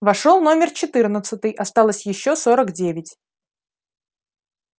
вошёл номер четырнадцатый осталось ещё сорок девять